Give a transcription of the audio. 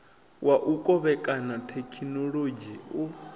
wa u kovhekana thekhinolodzhi u